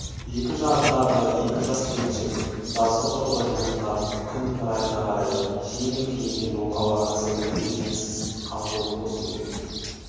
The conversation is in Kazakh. екі жағындағы екі жас келіншек жазғытұрғы жылынған күннің райына қарай жеңіл киінген оқалаған сәукеле жеңсіз қамзол қос етек